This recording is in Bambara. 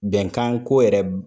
Bɛnkan ko yɛrɛ